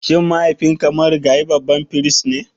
Shin mahaifinka marigayi babban firist ne?